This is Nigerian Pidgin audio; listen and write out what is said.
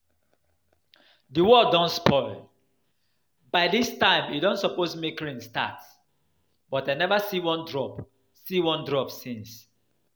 The world don spoil, by dis time e don suppose make rain start but I never see one drop see one drop since